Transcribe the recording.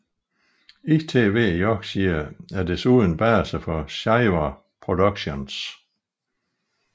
ITV Yorkshire er desuden base for Shiver Productions